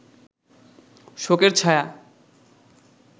শোকের ছায়া